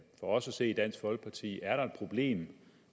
os at se i dansk folkeparti er et problem